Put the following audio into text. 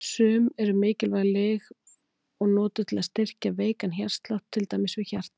Sum eru mikilvæg lyf og notuð til að styrkja veikan hjartslátt, til dæmis við hjartaáfall.